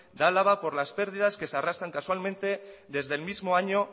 de álava por las pérdidas que se arrastran casualmente desde el mismo año